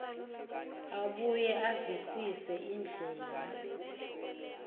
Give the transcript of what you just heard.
abuye avisise indlela